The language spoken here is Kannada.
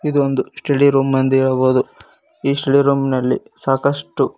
ಇದು ಒಂದು ಸ್ಟಡಿರೂಮ್ ಎಂದು ಹೇಳಬಹುದು ಈ ಸ್ಟಡಿ ರೂಮ್ ನಲ್ಲಿ ಸಾಕಷ್ಟು--